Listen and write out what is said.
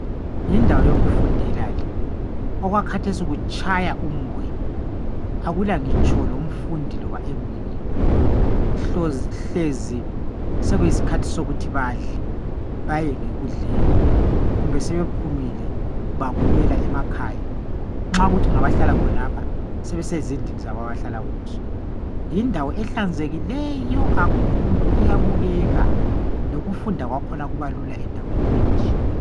Yindawo yokufundela le, okwakhathesi kutshaya umoya akulangitsho lomfundinloba eminye hlezi sekuyisikhathi sokuthi badle, baye ngekudleni kumbe sebephumile babuyela emakhaya . Nxa kuyikuthi ngabahlala khonapha sebesezindlini zabo abahlala kizo. Yindawo ehlanzekileyo kakhulu iyabukeka, lokufunda kwakhona kubalula endaweni enje.